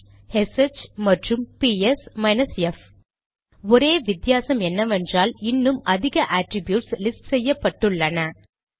bash SH மற்றும் PS minus F ஒரே வித்தியாசம் என்னவென்றால் இன்னும் அதிக அட்ரிப்யூட்ஸ் லிஸ்ட் செய்யப்பட்டுள்ளன